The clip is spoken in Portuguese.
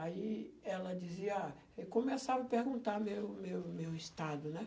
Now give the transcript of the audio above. Aí ela dizia, ah... Eu começava a perguntar o meu meu meu estado, né?